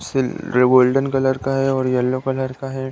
सिल golden colour का है और यल्लो कलर का है।